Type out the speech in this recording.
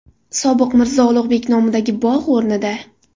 Sobiq Mirzo Ulug‘bek nomidagi bog‘ o‘rnida.